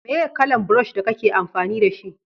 meye kalan burosh da kake amfani da shi?